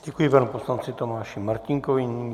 Děkuji panu poslanci Tomáši Martínkovi.